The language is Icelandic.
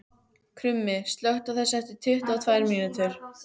Krummi, slökktu á þessu eftir tuttugu og tvær mínútur.